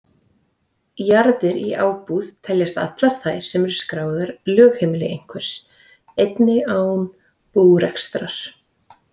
Jarðir í ábúð teljast allar þær sem eru skráð lögheimili einhvers, einnig án búrekstrar.